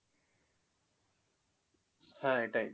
হ্যাঁ এটাই।